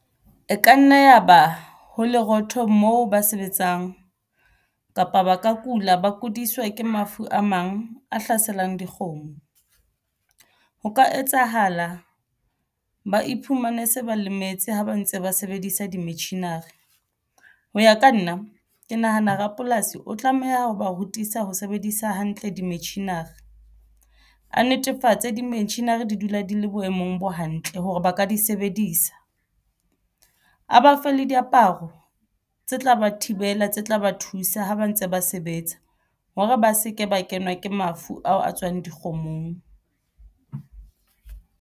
E ka nna ya ba ho lerotho moo ba sebetsang kapa ba ka kula ba kudiswa ke mafu a mang a hlaselang dikgomo ho ka etsahala ba iphumane se ba lemetse ha ba ntse ba sebedisa di metjhini-re hoya ka nna ke nahana rapolasi o tlameha ho ba rutisa ho sebedisa hantle di metjhini hore a netefatse di metjhini hore di dula di le boemong bo hantle hore ba ka di sebedisa a ba fe le diaparo tse tla ba thibela tse tla ba thusa ho ba ntse ba sebetsa hore ba se ke ba kenwa ke mafu ao a tswang dikgomong.